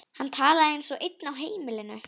Hann talaði eins og einn á heimilinu.